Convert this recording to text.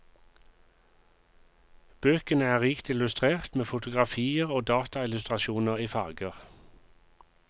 Bøkene er rikt illustrert med fotografier og dataillustrasjoner i farger.